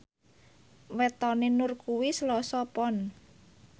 wetone Nur kuwi Selasa Pon